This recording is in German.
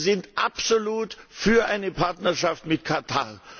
Wir sind absolut für eine Partnerschaft mit Katar.